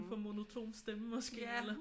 For monoton stemme måske eller?